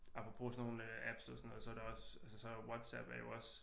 Apropos sådan nogle apps og sådan noget så er der også altså så er der jo WhatsApp er jo også